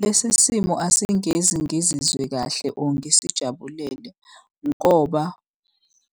Lesi simo asingezi ngizizwe kahle or ngisijabulele ngoba